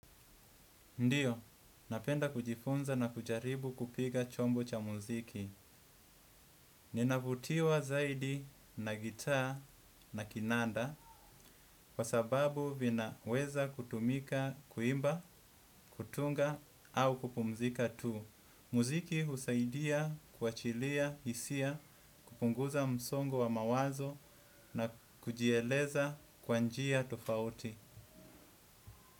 Ndiyo, napenda kujifunza na kujaribu kupiga chombo cha muziki. Ninavutiwa zaidi na gita na kinanda kwa sababu vinaweza kutumika kuimba, kutunga au kupumzika tu. Muziki husaidia, kwachilia, isia, kupunguza msongo wa mawazo na kujieleza kwa njia tofauti.